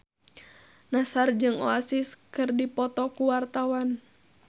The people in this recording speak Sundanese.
Nassar jeung Oasis keur dipoto ku wartawan